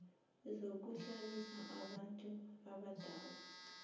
zokuhlalisa abantu abadala